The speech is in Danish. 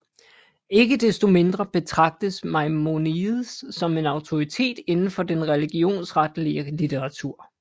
Ikke desto mindre betragtes Maimonides som en autoritet inden for den religionsretlige litteratur